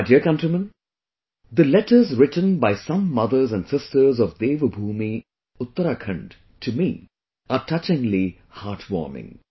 My dear countrymen, the letters written by some mothers and sisters of Devbhoomi Uttarakhand to me are touchingly heartwarming